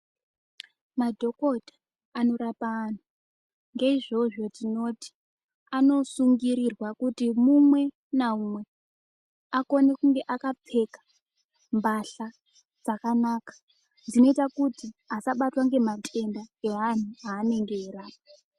Madhokota anorapa antu, ngeizvozvo tinoti, anosungirirwa kuti mumwe namumwe akone kunge akapfeka mbatya dzakanaka dzinoita kuti asabatwa ngematenda evantu evanenge veirapa.